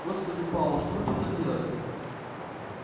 господи пауэлл что вы тут так делаете